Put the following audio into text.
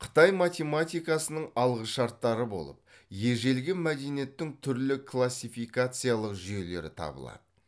қытай математикасының алғышарттары болып ежелгі мәдениеттің түрлі классификациялық жүйелері табылады